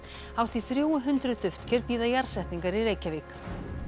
hátt í þrjú hundruð duftker bíða jarðsetningar í Reykjavík